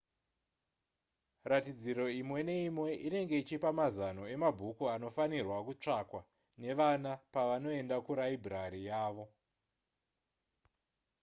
ratidziro imwe neimwe inenge ichipa mazano emabhuku anofanirwa kutsvakwa nevana pavanoenda kuraibhurari yavo